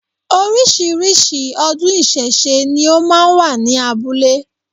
Orísìírísìí ọdún ìsẹ̀se ni ó máa wà ní abúlé